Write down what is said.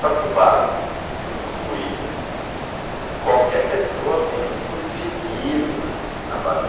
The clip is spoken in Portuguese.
Só que o barco foi construído por qualquer pessoa, menos por engenheiros né, navais.